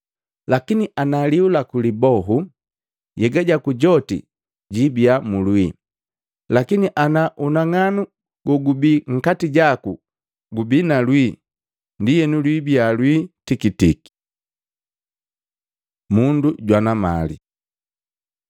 Lakini ana lihu laku libohu, nhyega jaku joti jiibya mu lwii. Lakini, ana unang'anu gogubii nkati jaku gubii na lwii, ndienu lwibiya lwii tikitiki! Mundu jwana mali Luka 16:13; 12:22-31